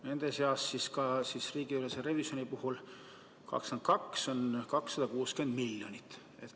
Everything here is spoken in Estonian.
Nende seas ka 260 miljonit riigiülese revisjoni puhul 2022. aastal.